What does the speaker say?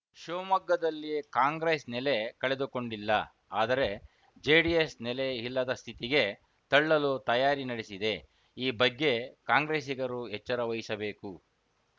ಶಿವಮೊಗ್ಗದಲ್ಲಿ ಕಾಂಗ್ರೆಸ್‌ ನೆಲೆ ಕಳೆದುಕೊಂಡಿಲ್ಲ ಆದರೆ ಜೆಡಿಎಸ್‌ ನೆಲೆ ಇಲ್ಲದ ಸ್ಥಿತಿಗೆ ತಳ್ಳಲು ತಯಾರಿ ನಡೆಸಿದೆ ಈ ಬಗ್ಗೆ ಕಾಂಗ್ರೆಸ್ಸಿಗರು ಎಚ್ಚರ ವಹಿಸಬೇಕು